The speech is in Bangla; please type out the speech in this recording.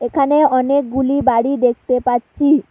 এখানে অনেকগুলি বাড়ি দেখতে পাচ্ছি।